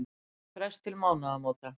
Fékk frest til mánaðamóta